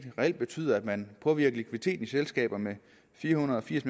reelt betyder at man påvirker likviditeten i selskaber med fire hundrede og firs